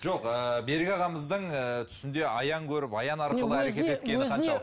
жоқ ыыы берік ағамыздың ы түсінде аян көріп аян арқылы әрекет еткені қаншалық